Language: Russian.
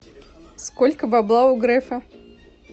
сколько бабла у грефа